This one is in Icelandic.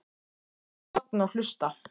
Ég er bara að safna og hlusta.